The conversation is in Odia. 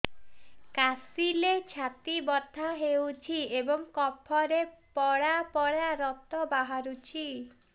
କାଶିଲେ ଛାତି ବଥା ହେଉଛି ଏବଂ କଫରେ ପଳା ପଳା ରକ୍ତ ବାହାରୁଚି